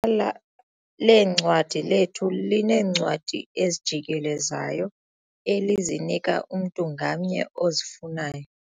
la leencwadi lethu lineencwadi ezijikelezayo elizinika umntu ngamnye ozifunayo.